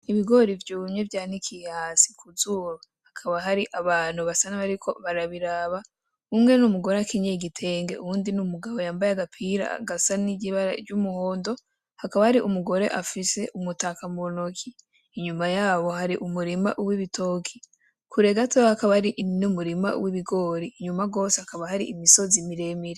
Ibigori vyumye vyanikiye hasi kuzuba hakaba hari abantu basa n'abariko barabiraba umwe ni umugore akenyeye igitenge uyundi ni umugabo yambaye agapira gasa n'ibara ry'umuhondo hakaba hari umugore afise umutaka mu ntoki inyuma yabo hari umurima w'ibitoki kure gato hakaba hari n'umurima w'ibigori inyuma gose hakaba hari imisozi miremire.